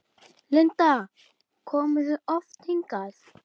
Linda: Komið þið oft hingað?